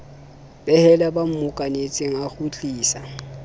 behela ba mmokanetseng a kgutlisa